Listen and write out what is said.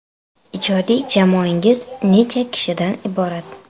Ijodiy jamoangiz necha kishidan iborat?